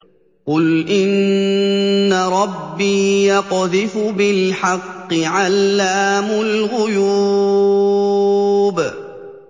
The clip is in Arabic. قُلْ إِنَّ رَبِّي يَقْذِفُ بِالْحَقِّ عَلَّامُ الْغُيُوبِ